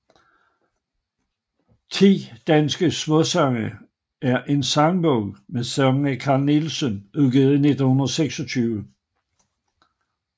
Ti danske Smaasange er en sangbog med sange af Carl Nielsen udgivet i 1926